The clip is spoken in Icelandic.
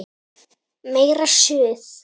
Meira Suð!